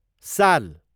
साल